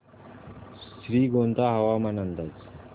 श्रीगोंदा हवामान अंदाज